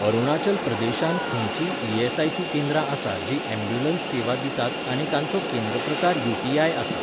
अरुणाचल प्रदेशांत खंयचींय ईएसआयसी केंद्रां आसा जीं ॲम्ब्युलन्स सेवा दितात आनी तांचो केंद्र प्रकार यूटीआय आसा?